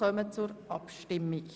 Wir kommen zur Abstimmung.